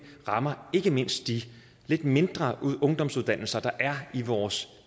rammer ikke mindst de lidt mindre ungdomsuddannelser der er i vores